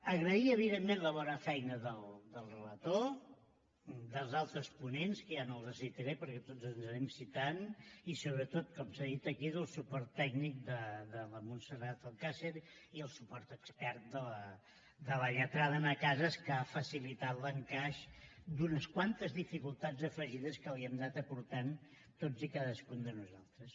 agrair evidentment la bona feina del relator dels altres ponents que ja no els citaré perquè tots ens anem citant i sobretot com s’ha dit aquí del suport tècnic de la montserrat alcàcer i el suport expert de la lletrada anna casas que ha facilitat l’encaix d’unes quantes dificultats afegides que li hem anat aportant tots i cadascun de nosaltres